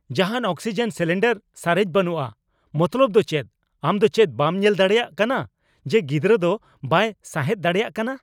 ᱡᱟᱦᱟᱱ oxygen cylinder ᱥᱟᱨᱮᱡ ᱵᱟᱹᱱᱩᱜᱼᱟ ᱢᱚᱛᱞᱚᱵ ᱫᱚ ᱪᱮᱫ ? ᱟᱢ ᱫᱚ ᱪᱮᱫ ᱵᱟᱢ ᱧᱮᱞ ᱫᱟᱲᱮᱭᱟᱜ ᱠᱟᱱᱟ ᱡᱮ ᱜᱤᱫᱨᱟᱹ ᱫᱚ ᱵᱟᱭ ᱥᱟᱸᱦᱮᱫ ᱫᱟᱲᱮᱭᱟᱜ ᱠᱟᱱᱟ ?